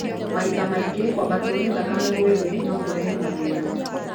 Mahinda mangĩ kwabato nĩ thakame kwĩ thĩ no kũrehe mathĩna.